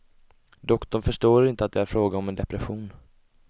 Doktorn förstår inte att det är fråga om en depression.